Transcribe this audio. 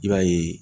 I b'a ye